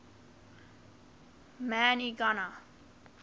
man y gana